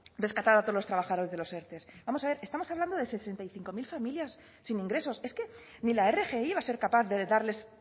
rescatar a todos los trabajados de los erte vamos a ver estamos hablando sesenta y cinco mil familias sin ingresos es que ni la rgi va a ser capaz de darles